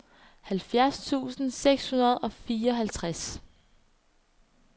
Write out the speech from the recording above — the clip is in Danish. halvfjerds tusind seks hundrede og fireoghalvtreds